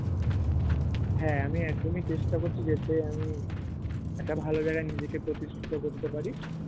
হ্যাঁ আমি একদমই চেষ্টা করছি যাতে আমি একটা ভালো জায়গা নিজেকে প্রতিষ্টিত করতে পারি